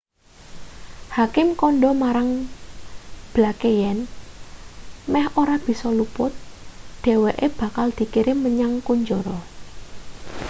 hakim kandha marang blake yen meh ora bisa luput dheweke bakal dikirim menyang kunjara